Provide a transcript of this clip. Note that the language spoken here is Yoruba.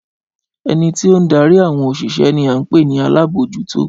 Ẹni tí ó ń darí àwọn òṣìṣẹ́ ní a ń pè ní alábòójútó